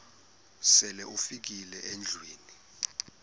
sele ufikile endlwini